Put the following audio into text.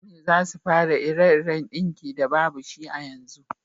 Mutane za su fara ire-iren dinki da babu shi a yanzu